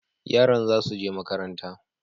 Yaran za su je makaranta,